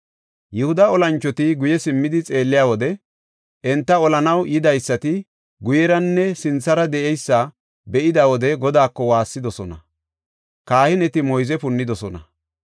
Yihuda olanchoti guye simmidi xeelliya wode enta olanaw yidaysati guyeranne sinthara de7eysa be7ida wode Godaako waassidosona; kahineti moyze punnidosona.